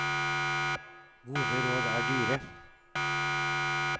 Gode råd er dyre.